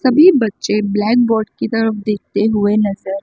सभी बच्चे ब्लैकबोर्ड की तरफ देखते हुए नज़र।